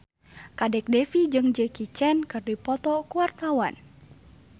Kadek Devi jeung Jackie Chan keur dipoto ku wartawan